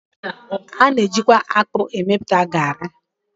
A na-eji kwa akpụ emepụta garị.